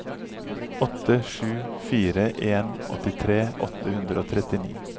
åtte sju fire en åttitre åtte hundre og trettini